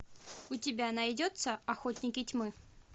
у тебя найдется охотники тьмы